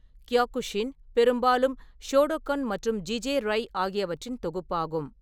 Kyokushin பெரும்பாலும் Shotokan மற்றும் ஜிஜே-ரை ஆகியவற்றின் தொகுப்பாகும்.